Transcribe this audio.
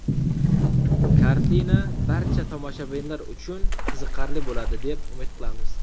Kartina barcha tomoshabinlar uchun qiziqarli bo‘ladi, deb umid qilamiz.